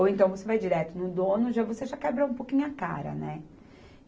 Ou então você vai direto no dono, já você já quebra um pouquinho a cara, né?